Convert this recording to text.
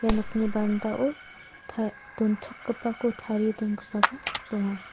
ia nokni barenda ta-donchakgipako tarie dongipaba donga.